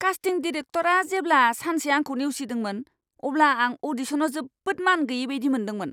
कास्टिं डिरेक्टरआ जेब्ला सानसे आंखौ नेवसिदोंमोन, अब्ला आं अ'डिशनाव जोबोद मानगैयै बायदि मोनदोंमोन!